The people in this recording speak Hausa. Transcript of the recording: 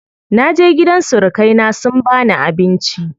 Naje gidan surukai na sun bani abinci.